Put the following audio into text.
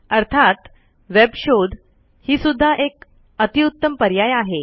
अर्थात वेब शोध हि सुद्धा एक अतिउत्तम पर्याय आहे